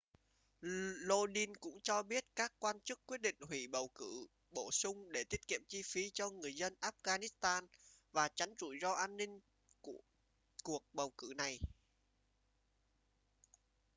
lodin cũng cho biết các quan chức quyết định hủy bầu cử bổ sung để tiết kiệm chi phí cho người dân afghanistan và tránh rủi ro an ninh của cuộc bầu cử này